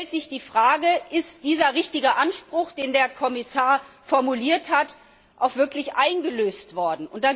Jetzt stellt sich die Frage, ist dieser richtige Anspruch, den der Kommissar formuliert hat, auch wirklich eingelöst worden?